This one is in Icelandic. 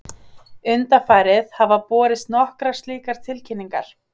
Undanfarið hafa borist nokkrar slíkar tilkynningar